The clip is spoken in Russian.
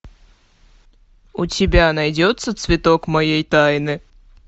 у тебя найдется цветок моей тайны